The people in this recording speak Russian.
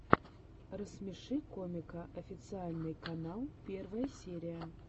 рассмеши комика официальный канал первая серия